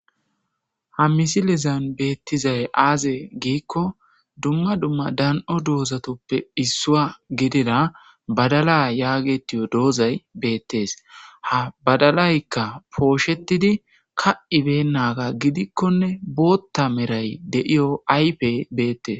ha misilezan beettizay aaze giikko dumma dumma dan7o doozatoppe issua gidira badala yaagetiyo doozay beettees ha badalaykka pooshetidi ka7ibennaga gidikkonne bootta meray deiyo aype beettees